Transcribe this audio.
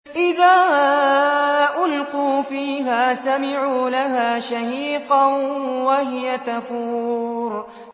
إِذَا أُلْقُوا فِيهَا سَمِعُوا لَهَا شَهِيقًا وَهِيَ تَفُورُ